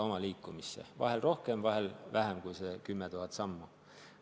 Vahel liigun rohkem, vahel vähem kui need 10 000 sammu.